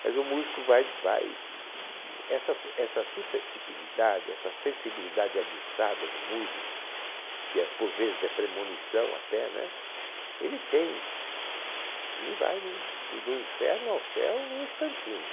Mas o músico vai, vai, essa s essa suscetipilidade, essa sensibilidade aguçada do músico, que é por vezes é premonição até, né? Ele tem, ele vai no do do inferno ao céu num instantinho.